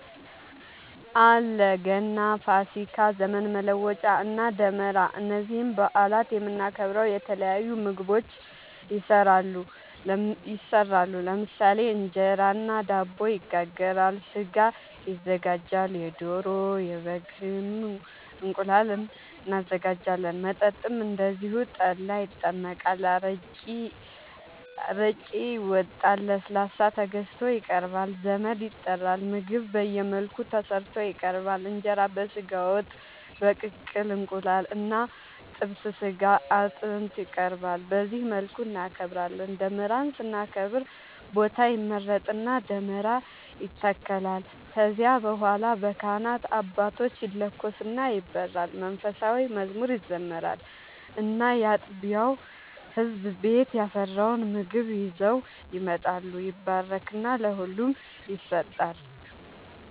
አለ ገና፣ ፋሲካ፣ ዘመን መለወጫ እና ደመራ እነዚህን በአላት የምናከብረው የተለያዩ ምግቦች ይሰራሉ ለምሳሌ እንጀራ እና ዳቦ ይጋገራል፣ ስጋ ይዘጋጃል የዶሮ፣ የበግም፣ እንቁላል እናዘጋጃለን። መጠጥም እንደዚሁ ጠላ ይጠመቃል፣ አረቄ ይወጣል፣ ለስላሳ ተገዝቶ ይቀርባል ዘመድ ይጠራል ምግብ በየመልኩ ተሰርቶ ይቀርባል እንጀራ በስጋ ወጥ፣ በቅቅል እንቁላል እና ጥብስ ስጋ አጥንት ይቀርባል በዚህ መልኩ እናከብራለን። ደመራን ስናከብር ቦታ ይመረጥና ደመራ ይተከላል ከዚያ በኋላ በካህናት አባቶች ይለኮስና ይበራል መንፉሳዊ መዝሙር ይዘመራል እና ያጥቢያው ህዝብ ቤት ያፈራውን ምግብ ይዘው ይመጣሉ ይባረክና ለሁሉም ይሰጣል።